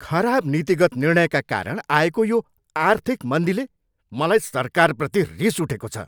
खराब नीतिगत निर्णयका कारण आएको यो आर्थिक मन्दीले मलाई सरकारप्रति रिस उठेको छ।